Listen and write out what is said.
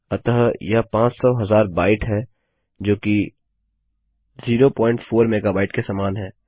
अतः यह पाँच सौ हजार बाइट है जो कि 0 प्वॉइंट 4 मेगाबाइट के समान है